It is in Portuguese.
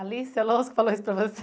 Alice Alonso falou isso para você?